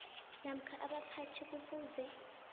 namkha abaphathi kufuze